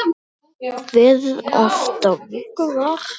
Kveðið oft á vöku var.